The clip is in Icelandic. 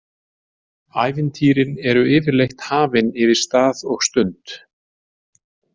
Ævintýrin eru yfirleitt hafin yfir stað og stund.